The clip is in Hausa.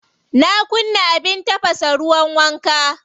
Na kunna abin tafasa ruwan wanka.